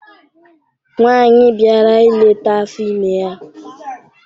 Nwaanyị bịara ileta afọ ime ya.